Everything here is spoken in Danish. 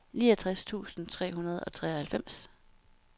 niogtres tusind tre hundrede og treoghalvfems